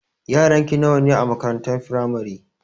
Yaranki nawa ne a makarantar firamare?